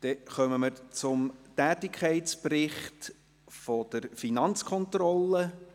Wir kommen zum Tätigkeitsbericht der Finanzkontrolle.